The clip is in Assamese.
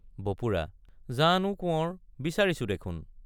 বপুৰা—জানো কোঁৱৰ বিচাৰিছো দেখোন!